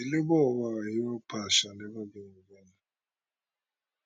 the labour of our hero past shall never be in vain